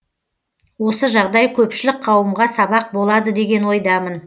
осы жағдай көпшілік қауымға сабақ болады деген ойдамын